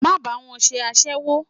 Má bá wọn ṣe aséwó!